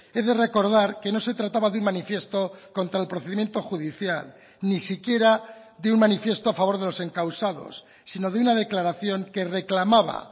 he de recordar que no se trataba de un manifiesto contra el procedimiento judicial ni siquiera de un manifiesto a favor de los encausados sino de una declaración que reclamaba